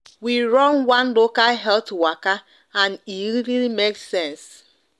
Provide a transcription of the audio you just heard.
we run one local health waka and e make sense